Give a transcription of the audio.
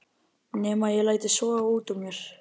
Nema ég léti soga út úr mér.